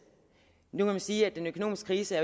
nu kan man sige at den økonomiske krise